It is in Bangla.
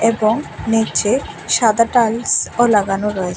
এবং নীচে সাদা টাইলস ও লাগানো রয়েছে।